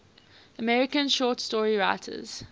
american short story writers